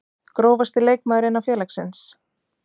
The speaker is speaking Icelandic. Grófasti leikmaður innan félagsins?